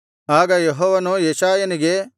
ಆಗ ಯೆಹೋವನು ಯೆಶಾಯನಿಗೆ